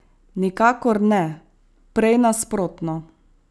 Nikakor ne, prej nasprotno.